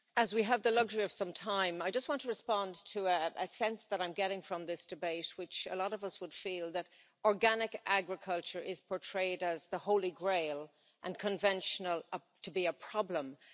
Mr President, as we have the luxury of some time, I want to respond to a sense that I'm getting from this debate, and which a lot of us would feel, that organic agriculture is portrayed as the Holy Grail, and conventional agriculture as problematic.